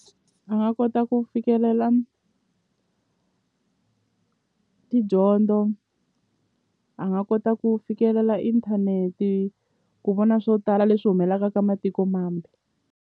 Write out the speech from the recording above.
A nga kota ku fikelela tidyondzo a nga kota ku fikelela inthanete ku vona swo tala leswi humelaka ka matiko mambe.